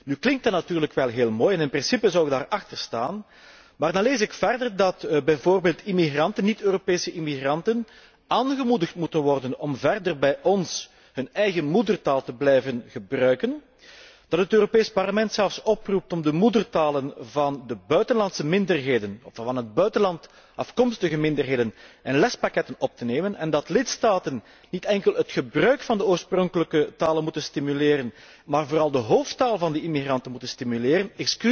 Nu klinkt dat natuurlijk wel heel mooi en in principe zou ik daarachter staan, maar dan lees ik verder dat bijvoorbeeld niet Europese immigranten aangemoedigd moeten worden om verder bij ons hun eigen moedertaal te blijven gebruiken, dat het Europees Parlement zelfs oproept om de moedertalen van de buitenlandse minderheden, of van het buitenland afkomstige minderheden in lespakketten op te nemen en dat lidstaten niet enkel het gebruik van de oorspronkelijke talen moeten stimuleren, maar vooral de hoofdtaal van de immigranten moeten stimuleren.